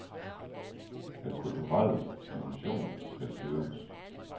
Den kulturelle dimension skal styrkes.